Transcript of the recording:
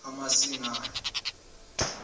kamasingana